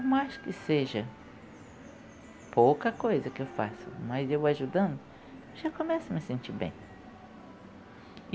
Por mais que seja pouca coisa que eu faço, mas eu ajudando, já começo a me sentir bem.